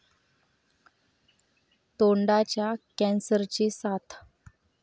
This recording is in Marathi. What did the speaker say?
तोंडाच्या कॅन्सरची साथ